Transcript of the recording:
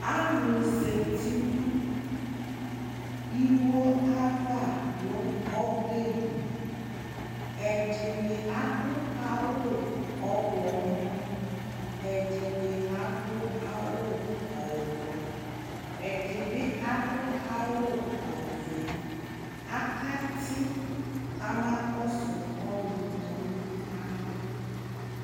alò zati no iwo ava no ɔbɛ li ɛdini adu awu ɔwlɔmɔ ɛdini adu awu ublɔ ɛdi bi adu awu ɔvɛ aka ti kama kɔsu ɔlò tɔ no alɔ